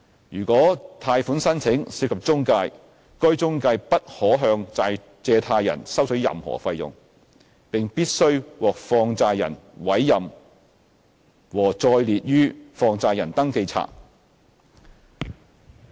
如果貸款申請涉及中介，該中介不可向借貸人收取任何費用，並必須獲放債人委任和載列於放債人登記冊。